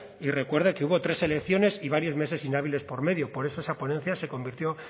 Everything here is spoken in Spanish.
y recuerde que hubo tres elecciones y varios meses inhábiles por medio por eso esa ponencia se convirtió